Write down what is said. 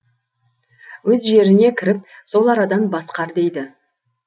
өз жеріне кіріп сол арадан басқар дейді